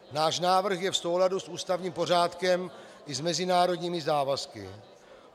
Náš návrh je v souladu s ústavním pořádkem i s mezinárodními závazky.